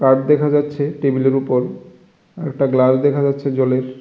Card দেখা যাচ্ছে টেবিলের উপর আর একটা গ্লাস দেখা যাচ্ছে জলের।